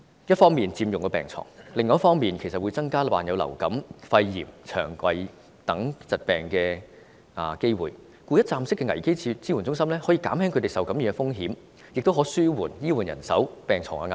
一方面佔用了病床，另一方面會增加受虐兒童患上流感、肺炎、腸胃等疾病的機會，故此一站式的危機支援中心可減輕他們受感染的風險，亦可紓緩醫護人手及病床的壓力。